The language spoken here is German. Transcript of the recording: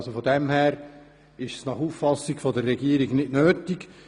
Insofern ist dieser Antrag nach Auffassung der Regierung nicht nötig;